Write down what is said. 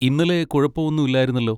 ഇന്നലെ കുഴപ്പം ഒന്നും ഇല്ലായിരുന്നല്ലോ.